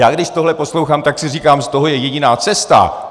Já když tohle poslouchám, tak si říkám, z toho je jediná cesta.